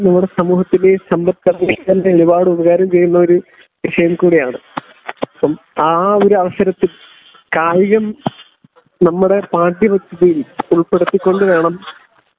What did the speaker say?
സമൂഹത്തിന്റെയും സമ്പല്ഘടനയ്ക്കു തന്നെ ഒരുപാട് ഉപകാരം ചെയ്യുന്ന ഒരു വിഷയം കൂടിയാണ്.അപ്പം ആ ഒരു അവസരത്തിൽ കായികം നമ്മുടെ പാഠ്യ പദ്ധതിയിൽ ഉൾപ്പെടുത്തികൊണ്ട് വേണം